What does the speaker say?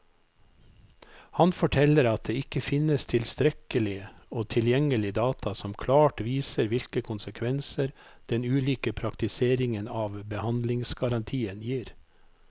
Han forteller at det ikke finnes tilstrekkelig og tilgjengelig data som klart viser hvilke konsekvenser den ulike praktiseringen av behandlingsgarantien gir.